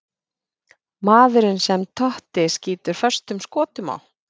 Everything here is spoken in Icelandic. Maðurinn sem Totti skýtur föstum skotum á?